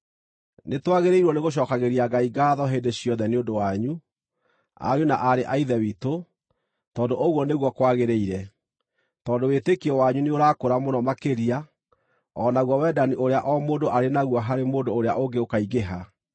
Nĩtwagĩrĩirwo nĩgũcookagĩria Ngai ngaatho hĩndĩ ciothe nĩ ũndũ wanyu, ariũ na aarĩ a Ithe witũ, tondũ ũguo nĩguo kwagĩrĩire, tondũ wĩtĩkio wanyu nĩũrakũra mũno makĩria, o naguo wendani ũrĩa o mũndũ arĩ naguo harĩ mũndũ ũrĩa ũngĩ ũkaingĩha.